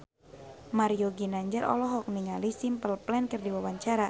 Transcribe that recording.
Mario Ginanjar olohok ningali Simple Plan keur diwawancara